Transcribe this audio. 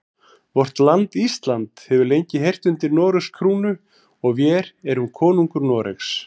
Vort land Ísland hefur lengi heyrt undir Noregs krúnu og vér erum konungur Noregs.